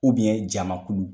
jama kulu.